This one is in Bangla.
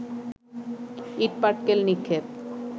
ইটপাটকেল নিক্ষেপ